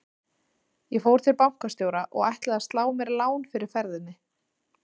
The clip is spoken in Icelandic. Ég fór til bankastjóra og ætlaði að slá mér lán fyrir ferðinni.